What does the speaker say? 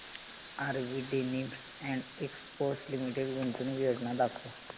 RV denims and exports limited गुंतवणूक योजना दाखव